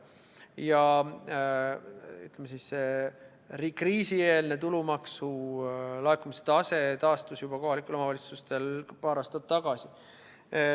Ja, ütleme siis, see kriisieelne tulumaksu laekumise tase taastus juba kohalikel omavalitsustel paar aastat tagasi.